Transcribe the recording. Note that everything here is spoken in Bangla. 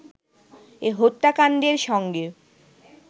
এ হত্যাকাণ্ডের সঙ্গে